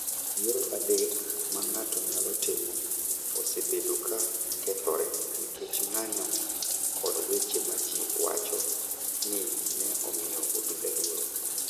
Yiero adek ma ng�ato nyalo timo osebedo ka kethore nikech ng�anjo kod weche ma ji wacho ni ne omiyo obila luoro.